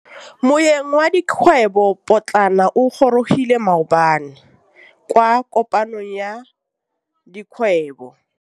Moêng wa dikgwêbô pôtlana o gorogile maabane kwa kopanong ya dikgwêbô.